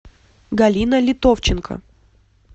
галина литовченко